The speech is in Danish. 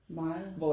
Meget